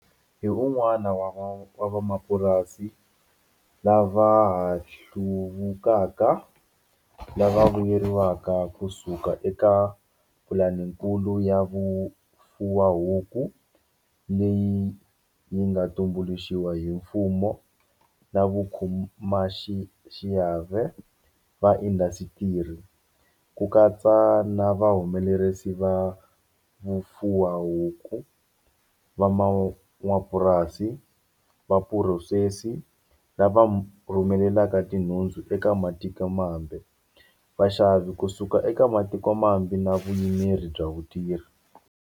Hi un'wana wa van'wamapurasi lava ha hluvukaka lava vuyeriwaka kusuka eka Pulanikulu ya Vufuwahuku, leyi yi nga tumbuluxiwa hi mfumo na vakhomaxiave va indasitiri, ku katsa na va humelerisi va vufuwahuku, van'wamapurasi, vaphurosesi, lava rhumelaka tinhundzu eka matikomambe, vaxavi kusuka eka matiko mambe na vuyimeri bya vatirhi.